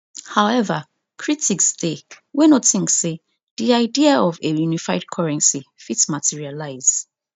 however critics dey wey no think say di idea of a unified currency fit materialise